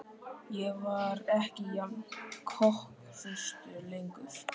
Ég var ekki jafn kokhraustur lengur.